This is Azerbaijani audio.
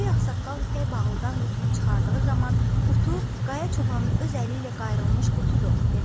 Böyük ağsaqqal ipək bağlıdan qutunu çıxardığı zaman "Qutu Qaya çobanın öz əli ilə qayrılmış qutudur" dedi.